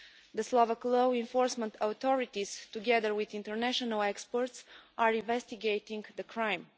The Slovak law enforcement authorities, together with international experts, are investigating the crime.